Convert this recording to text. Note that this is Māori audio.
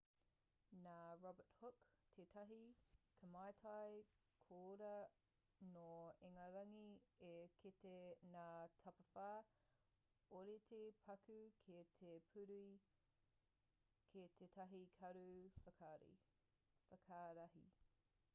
nā robert hooke tētahi kaimātai koiora nō ingarangi i kite ngā tapawhā ōrite paku ki te puru ki tētahi karu whakarahi